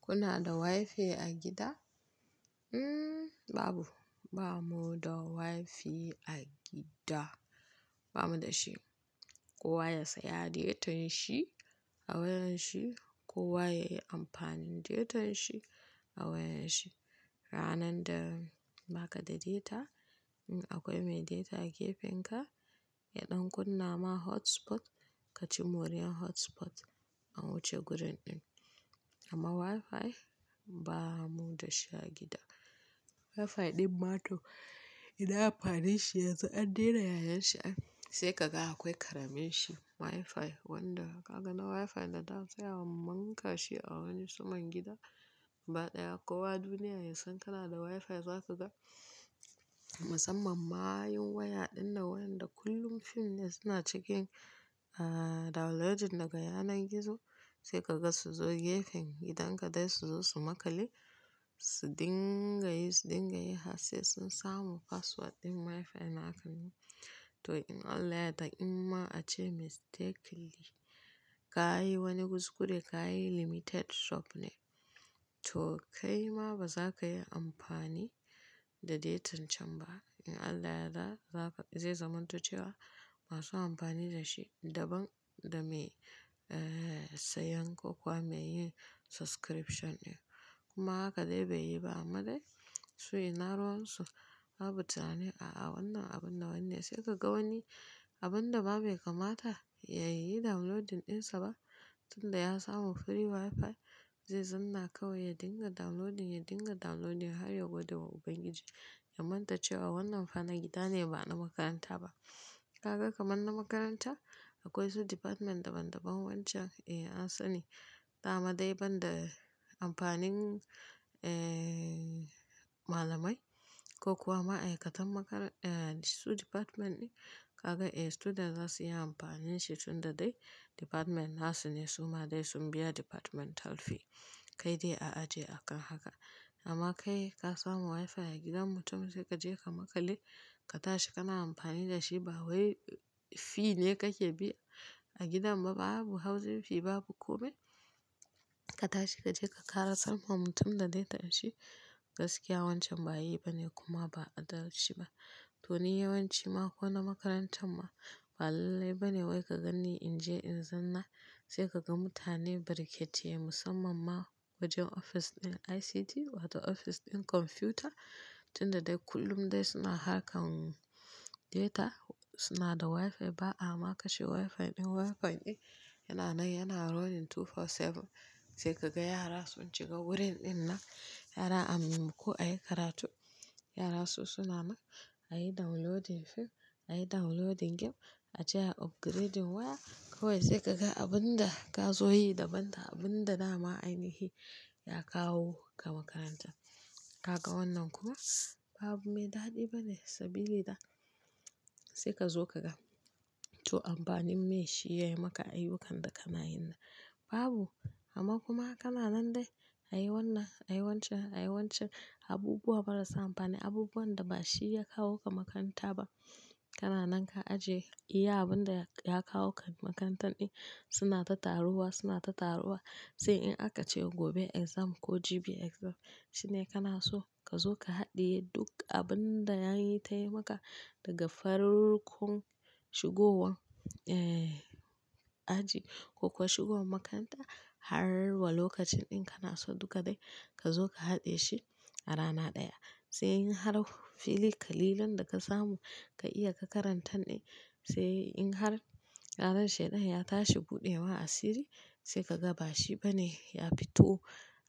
Kuna da wifi a gida? Hmm, babu. Ba mu da wifi a gida. Ba mu da shi. Kowa ya saya datan shi a wayar shi, kowa ya yi amfani da datan shi a wayar shi. Ranar da baka da data, in akwai mai data a gefen ka, ya ɗan kunna ma hotspot, ka ci moriyar hotspot an wuce gurin ɗin. Amma wifi, ba mu da shi a gida. Wifi ɗin mato, ina amfaninshi yanzu an dena yayansa. Sai ka ga akwai ƙaramin shi wifi, wanda kaga na wifi da da sai amunka shi a wani suman gida. Ba ɗaya, kowa duniya ya san kana da wifi, za ka ga. Musamman mayun waya ɗin nan wayanda kullum fim ne suna cikin, ah, downloading daga yanar gizo. Sai kaga su zo gefen gidan ka dai su zo su makale, su dinga yi, su dinga yi har sai sun samu password ɗin wifi nakan. To in Allah ya yadda, in ma ace mistakenly ka yi wani kuskure, ka yi limited sop ne. To kai ma ba za ka yi amfani da datan can ba. In Allah ya yadda zaka, zai zamanto cewa masu amfani da shi daban da me, eh, sayan ko kuwa me yin subscription ne. Kuma haka dai bai yi ba amma dai su ina ruwansu. Babu tunanin a'a wannan abun na wanne. Sai ka ga wani abun da ba mai kamata ya yi downloading ɗinsa ba, tunda ya samu free wifi zai zanna kawai ya dinga downloading, ya dinga downloading har ya gwada wa Ubangiji. Ya manta cewa wannan fa na gida ne ba na makaranta ba. Kaga kamar na makaranta, akwai su department daban-daban wancan, eh, an sani. Ta amma dai banda amfanin, eh, malamai ko kuwa ma'aikatan makar-- eh, su department ɗin. Kaga, eh, student za su yi amfani shi tunda dai department nasu ne. Suma dai sun biya departmental fee. Kai dai a ajiye akan haka. Amma kai ka samu wifi a gidan mutum sai ka je ka makale, ka tashi kana amfani da shi ba wai fee ne kake bi a gidan ba, babu hauzin fee, babu kome. Ka tashi ka je ka ƙarasar ma mutum da data ɗin shi. Gaskiya wancan ba yi bane kuma ba adalci ba. To niyyar wayanci ma ko na makarantar ma, ba lallai ba ne wai ka ganni in je in zanna. Sai ka ga mutane bariƙete musamman ma wajen ofis ɗin ICT wato ofis ɗin kwamfuta tunda dai kullum dai suna harkan data. Suna da wifi ba'a ma kashe wifi ɗin. Wifi ɗin yana nan yana running 24/7. Sai ka ga yara sun shiga wurin ɗin nan, yara a maimako a yi karatu. Yara su suna nan a yi downloading fim, a yi downloading game, a je a upgrading waya. Kawai sai kaga abun da ka zo yi daban da abun da na ma ainihi ya kawo ka makaranta. Kaga wannan kuma ba abu mai daɗi bane sabili da. Sai ka zo kaga, to amfanin me shi ya yi maka ayyukan da kana yin nan? Babu. Amma kuma kana nan dai a yi wannan, a yi wancan, a yi wancan. Abubuwa marasa amfani, abubuwan da ba shi ya kawo ka makaranta ba. Kana nan ka aje iya abun da ya kawo ka makarantan ɗin. Suna ta taruwa, suna ta taruwa sai in aka cewa gobe exam ko jibi exam shine kana so ka zo ka haɗiye duk abun da ya yi ta yi maka daga farkon shigowar, eh, aji ko kuwa shigowar makaranta har wa lokacin ɗin kana so duka dai ka zo ka haɗiye shi a rana ɗaya. Sai in har filikali lan da ka samu ka iya ka karanta ɗin. Sai in har ranan shaida ya tashi buɗewa asiri sai ka ga ba shi bane ya fito,